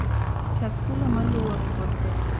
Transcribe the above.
chak sula maluwo e podcast